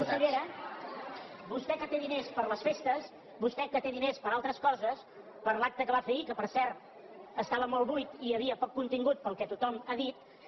consellera vostè que té diners per a les festes vostè que té diners per a altres coses per a l’acte que va fer ahir que per cert estava molt buit i hi havia poc con·tingut pel que tothom ha dit